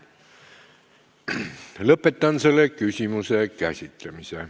Lõpetan selle küsimuse käsitlemise.